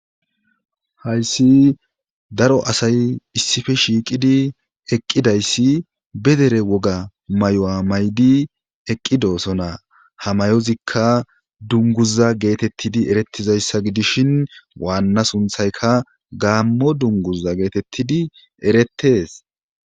hayssi daro asay issife shiiqidi eqqidayssi be dere woga may7o maydi eqqidosona hamayozikka dunguza geetettidi erettizayssa gidishin waanna sunthayka gaammo dunguza geetettidi eretees